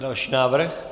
Další návrh.